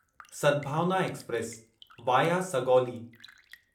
Sadbhavna express via Sugauli